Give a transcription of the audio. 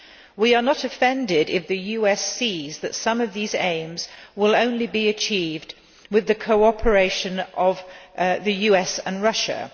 We are not offended if the US sees that some of these aims will only be achieved with the cooperation of the US and Russia.